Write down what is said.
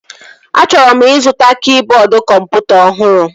Achọrọ m ịzụta kịboodu kọmputa ọhụrụ